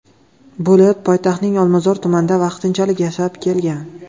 bo‘lib, poytaxtning Olmazor tumanida vaqtinchalik yashab kelgan.